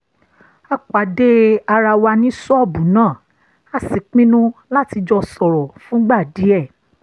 a pàdé ara wa ní ṣọ́ọ̀bù náà a sì pinnu láti jọ sọ̀rọ̀ fúngbà díẹ̀